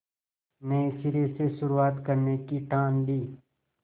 नए सिरे से शुरुआत करने की ठान ली